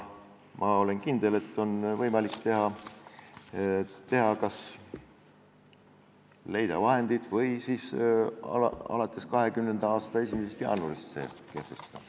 Ma olen kindel, et on võimalik kas leida vahendeid või kehtestada see alates 2020. aasta 1. jaanuarist.